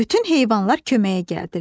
Bütün heyvanlar köməyə gəldilər.